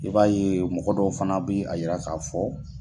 I b'a ye mɔgɔ dɔw fana bɛ a yira ka fɔ